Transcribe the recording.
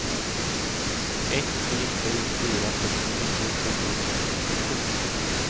ett tre sju fyra sextionio sjuhundratrettiosju